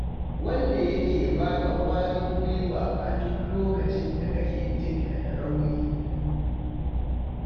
Wanda yake ba ka ƙwarin gwiwa a duk lokacin da kake jin ka da rauni.